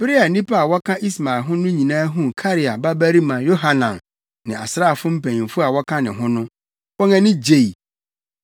Bere a nnipa a wɔka Ismael ho no nyinaa huu Karea babarima Yohanan ne asraafo mpanyimfo a wɔka ne ho no, wɔn ani gyei.